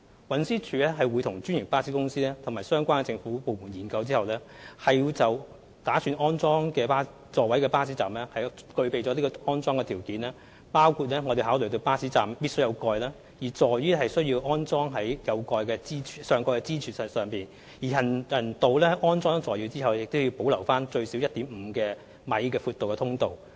運輸署會和專營巴士公司及相關政府部門進行研究，確保擬安裝座位的巴士站具備有關條件，包括該巴士站必須設有上蓋，座椅必須安裝在上蓋的支柱，而行人道在安裝座椅後亦須留有最少 1.5 米寬的通道。